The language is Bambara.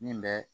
Min bɛ